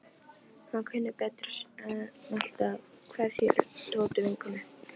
Hann kunni betur að meta kveðjur Tótu vinnukonu.